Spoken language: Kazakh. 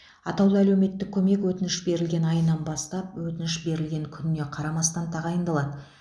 атаулы әлеуметтік көмек өтініш берілген айынан бастап өтініш берілген күніне қарамастан тағайындалады